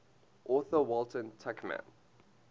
author walter tuchman